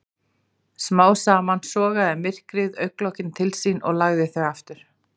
Smám saman sogaði myrkrið augnlokin til sín og lagði þau aftur.